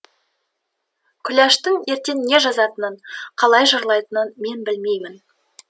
күләштің ертең не жазатынын қалай жырлайтынын мен білмеймін